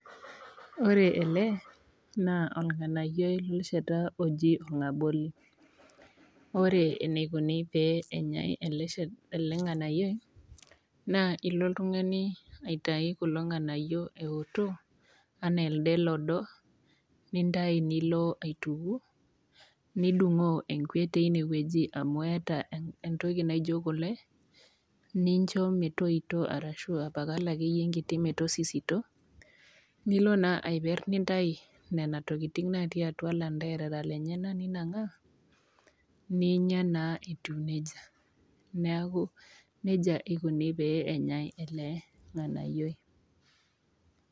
Wore ele, naa ornganayioi lesheta oji orngaboli. Wore enikuni pee enyae ele nganayioi. Naa ilo oltungani aitayu kulo nganayio eoto enaa elde lodo, nintayu nilo aituku. Nidungoo enkwe teniewoji amu eeta entoki naijo kule, nincho metoito ashu apal akeyie enkiti metosisito, nilo naa aiper nintayu niana tokitin natii atua lanterara lenyanak ninangaa. Ninya naa etiu nejia. Neeku nejia ikuni pee enyae ele nganayioi.